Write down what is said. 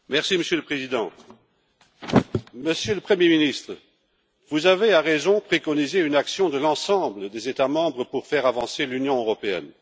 Monsieur le Président, Monsieur le Premier ministre, vous avez, à juste titre, préconisé une action de la part de l'ensemble des États membres pour faire avancer l'Union européenne.